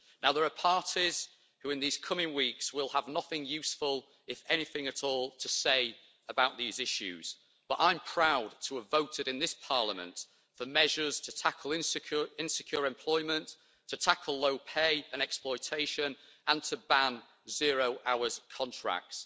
There are parties who in the coming weeks will have nothing useful, if anything at all, to say about these issues, but I'm proud to have voted in this Parliament for measures to tackle insecure employment, to tackle low pay and exploitation, and to ban zero-hours contracts.